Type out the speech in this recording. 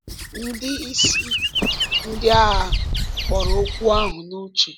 Ndị isi ndị agha kpọrọ okwu ahụ n’uche.